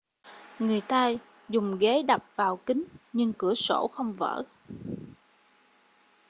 người ta dùng ghế đập vào kính nhưng cửa sổ không vỡ